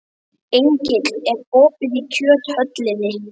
Engill, er opið í Kjöthöllinni?